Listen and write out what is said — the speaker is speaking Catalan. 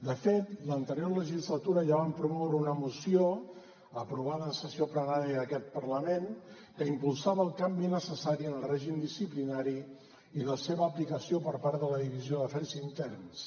de fet l’anterior legislatura ja vam promoure una moció aprovada en sessió plenària d’aquest parlament que impulsava el canvi necessari en el règim disciplinari i la seva aplicació per part de la divisió d’afers interns